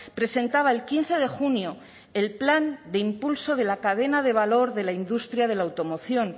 presentaba el quince de junio el plan de impulso de la cadena de valor de la industria de la automoción